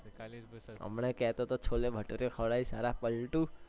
હમણાંજ કેહતો હતો છોલે ભટુરે ખવડાવીશ સાલા પલટૂ